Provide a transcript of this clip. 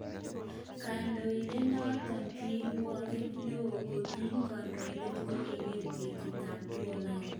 Kondoidet noton kirwoget neo kokini kadoinatet kongeten kenyitab 2009.